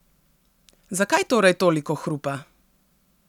Zakaj torej toliko hrupa?